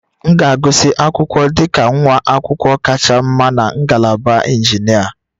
M ga-agụsị akwụkwọ dị ka nwa akwụkwọ kacha mma na ngalaba injinia